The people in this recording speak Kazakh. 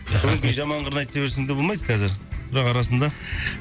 өңкей жаман қырын айта берсең де болмайды қазір бірақ арасында